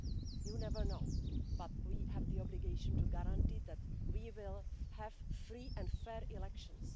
You never know, but we have the obligation to guarantee that we will have free and fair elections.